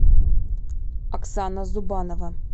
оксана зубанова